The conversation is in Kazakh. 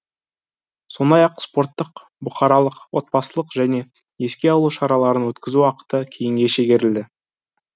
сондай ақ спорттық бұқаралық отбасылық және еске алу шараларын өткізу уақыты кейінге шегерілді